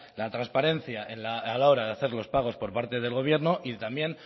la trasparencia a la hora de hacer los pagos por parte del gobierno y también